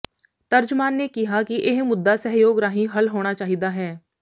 ਤਰਜਮਾਨ ਨੇ ਕਿਹਾ ਕਿ ਇਹ ਮੁੱਦਾ ਸਹਿਯੋਗ ਰਾਹੀਂ ਹੱਲ ਹੋਣਾ ਚਾਹੀਦਾ ਹੈ